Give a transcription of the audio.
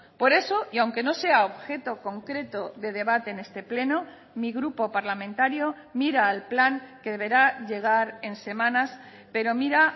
por eso y aunque no sea objeto concreto de debate en este pleno mi grupo parlamentario mira al plan que deberá llegar en semanas pero mira